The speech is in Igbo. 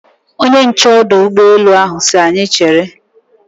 Ọrụ nche ọdụ ụgbọ elu ahụ si anyị chere.